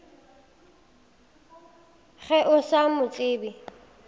ge o sa mo tsebe